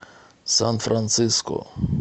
сан франциско